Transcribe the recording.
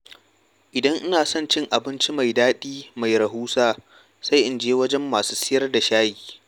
Idan ina son cin abinci mai daɗi mai rahusa, sai in je wajen masu sayar da shayi.